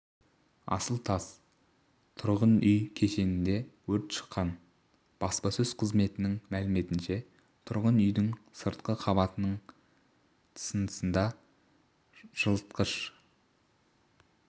асыл тас тұрғын үй кешенінде өрт шыққан баспасөз қызметінің мәліметінше тұрғын үйдің сыртқы қабатының тысындағы жылытқышы